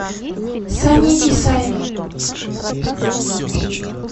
сани исаева